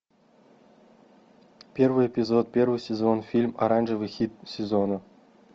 первый эпизод первый сезон фильм оранжевый хит сезона